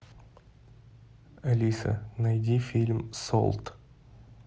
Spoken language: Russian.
алиса найди фильм солт